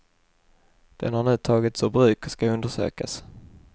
Den har nu tagits ur bruk och ska undersökas.